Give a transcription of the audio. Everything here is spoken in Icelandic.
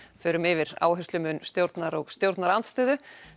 förum yfir áherslumun stjórnar og stjórnarandstöðu